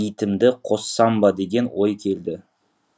итімді қоссам ба деген ой келді